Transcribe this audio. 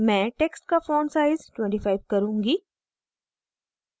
मैं text का font size 25 करुँगी